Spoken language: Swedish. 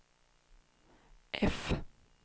F